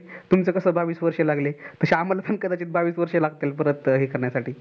तुम्हाला कस बावीस वर्ष लागले तास आम्हाला भी कदाचित आम्हाला पण बावीस वर्ष लागतील परत हे करण्यासाठी